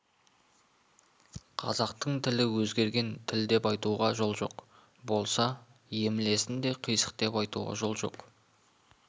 қазақтың тілі өзгерген тіл деп айтуға жол жоқ болса емлесін де қисық деп айтуға жол жоқ